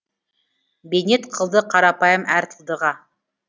бейнет қылды қарапайым әр тылдыға